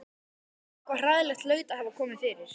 Eitthvað hræðilegt hlaut að hafa komið fyrir.